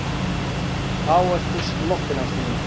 Þá ertu sloppin, ástin mín.